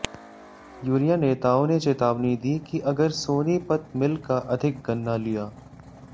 union नेताओं ने चेतावनी दी कि अगर सोनीपत मिल का अधिक गन्ना लिया